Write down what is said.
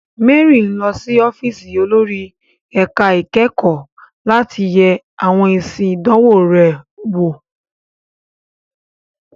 Mary ń lọ sí ọ́fíìsì olórí ẹ̀ka ìkẹ́kọ̀ọ́ láti yẹ àwọn èsì ìdánwò rẹ̀ wò.